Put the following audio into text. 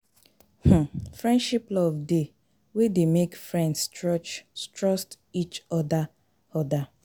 um Friendship love de wey de make friends trust each other other